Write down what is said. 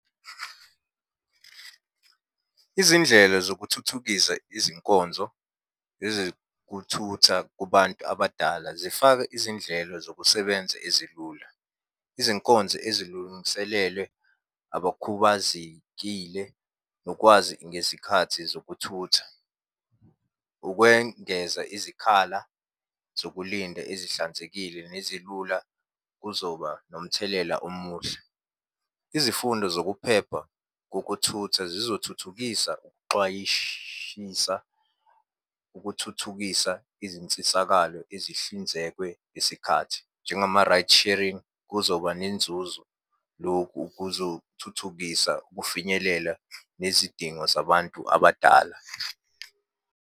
Izindlela zokuthuthukisa izinkonzo ezekuthutha kubantu abadala, zifaka izindlela zokusebenza ezilula. Izinkonzo ezilungiselelwe abakhubazekile, nokwazi ngezikhathi zokuthutha. Ukwengeza izikhala zokulinda ezihlanzekile nezilula kuzoba nomthelela omuhle. Izifundo zokuphepha kokuthutha zizothuthukisa ukuxwayishisa ukuthuthukisa izinsisakalo ezihlinzekwe sikhathi. Njengama-rights sharing, kuzoba nenzuzo. Lokhu kuzothuthukisa ukufinyelela nezidingo zabantu abadala.